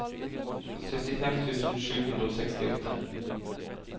syttifem tusen sju hundre og sekstiåtte